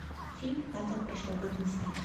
фильм падал прошлогодний снег